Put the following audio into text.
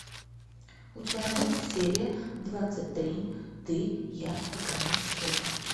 у тебя найдется серия двадцать три ты я и конец света